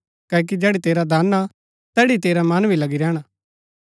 क्ओकि जैड़ी तेरा धन हा तैड़ी ही तेरा मन भी लगी रैहणा